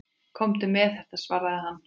Komdu með þetta, svaraði hann.